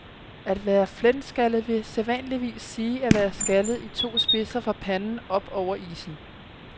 At være flenskaldet vil sædvanligvis sige at være skaldet i to spidser fra panden op over issen.